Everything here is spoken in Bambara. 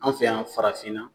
An fɛ yan farafin na